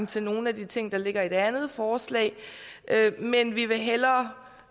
til nogle af de ting der ligger i det andet forslag men vi vil hellere